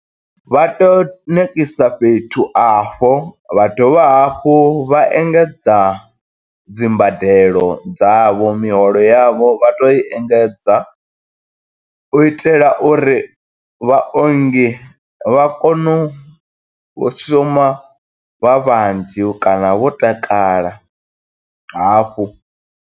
Vha to nekisa fhethu afho, vha dovha hafhu vha engedza dzimbadelo dzavho miholo yavho vha tea u i engedza, u itela uri vhaongi vha kono u shuma vha vhanzhi kana vho takala hafhu.